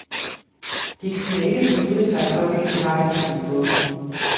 De kunne ikke beslutte sig for hvilken vej, de skulle gå.